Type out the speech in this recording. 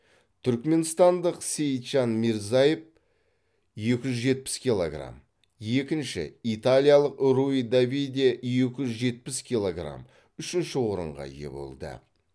түрікменстандық сейитжан мирзаев екі жүз жетпіс килограмм екінші италиялық руи давиде екі жүз жетпіс килограмм үшінші орынға ие болды